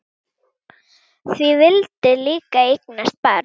Þú vildir líka eignast barn.